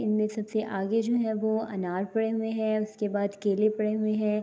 انمے سبسے آگے جو ہے وو انار پڑے ہوئے ہے۔ اسکے بعد کیلے پڑے ہوئے ہے۔